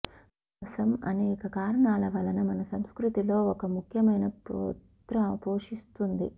విశ్వాసం అనేక కారణాల వలన మన సంస్కృతిలో ఒక ముఖ్యమైన పాత్ర పోషిస్తుంది